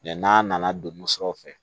n'a nana don musaw fɛ